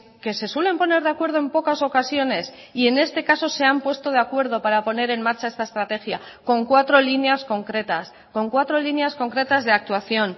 que se suelen poner de acuerdo en pocas ocasiones y en este caso se han puesto de acuerdo para poner en marcha esta estrategia con cuatro líneas concretas con cuatro líneas concretas de actuación